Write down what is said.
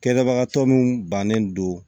Kɛlɛbagatɔ min bannen don